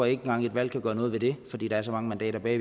engang at et valg kan gøre noget ved det fordi der er så mange mandater bag